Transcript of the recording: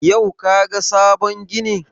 Yau ka ga sabon ginin?